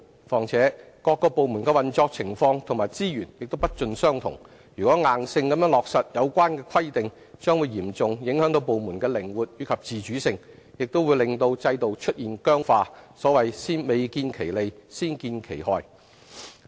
況且，各個部門的運作情況和資源也不盡相同，如硬性落實有關規定，將嚴重影響部門的靈活及自主性，亦令制度出現僵化，所謂未見其利，先見其害。